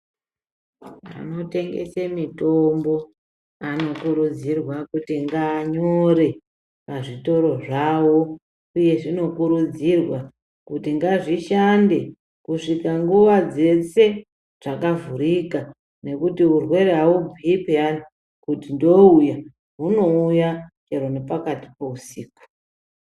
Vanotengese mitombo anokurudzirwa kuti ngaanyore pazvitoro zvawo, uye zvinokurudzirwa kuti ngazvishande kusvika nguva dzese zvakavhurika, nekuti urwere haubhuyi pheyani kuti ndouya, hunouya chero nepakati peusiku.